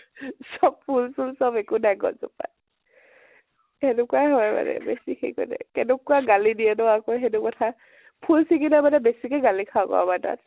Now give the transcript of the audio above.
চব ফুল চুল চব একো নাই, গছ জোপাত, সেনেকুৱায়ে হয়, বেছি হেৰি কৰি থাকিলে । কেনেকুৱা গালি দিয়ে ন আকৌ সেইটো কথাত । ফুল চিগিলে মানে বেছিকে গালি খাওঁ, আমাৰ তাত